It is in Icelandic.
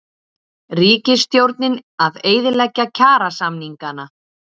Ríkisstjórnin að eyðileggja kjarasamningana